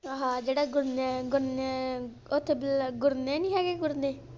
ਆਹ ਜਿਹੜਾ ਗੁਰਨੇ ਨੀ ਹੈਗੇ ਗੁਰਨੇ।